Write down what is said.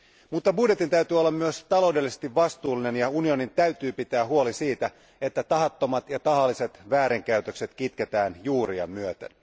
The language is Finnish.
Mutta budjetin täytyy olla myös taloudellisesti vastuullinen, ja unionin täytyy pitää huoli siitä, että tahattomat ja tahalliset väärinkäytökset kitketään juuriaan myöten.